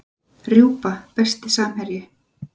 Rjúpa Besti samherji?